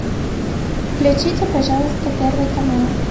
включите пожалуйста первый канал